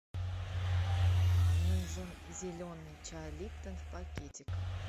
нужен зеленый чай липтон в пакетиках